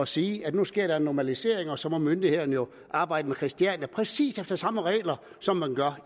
sige at nu sker der en normalisering og så må myndighederne jo arbejde med christiania efter præcis samme regler som man gør